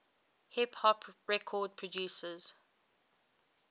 hip hop record producers